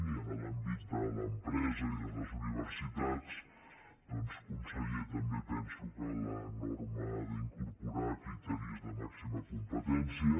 i en l’àmbit de l’empresa i les universitats doncs conseller també penso que la norma ha d’incorporar criteris de màxima competència